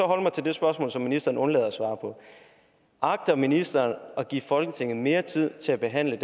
holde mig til det spørgsmål som ministeren undlader at svare på agter ministeren at give folketinget mere tid til at behandle